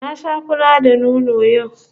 Na sha fura da nono yau